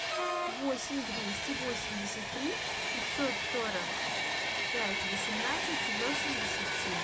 восемь двести восемьдесят три пятьсот сорок пять восемнадцать восемьдесят семь